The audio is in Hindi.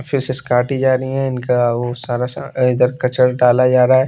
फिशेस काटी जा रही है इनका वो सारा स अ इधर कचरा डाला जा रहा है।